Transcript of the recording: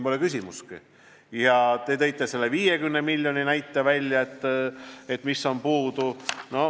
Te tõite välja need 50 miljonit, mis on puudu.